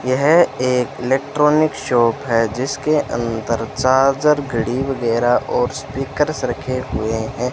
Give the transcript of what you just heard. यह एक electronic shop है जिसके अंदर चार्जर घड़ी वगैरा और स्पीकर्स रखे हुए हैं।